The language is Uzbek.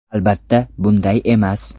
Albatta, bunday emas.